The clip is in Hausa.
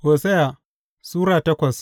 Hosiya Sura takwas